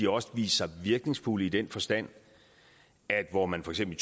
også vist sig virkningsfulde i den forstand at hvor man for eksempel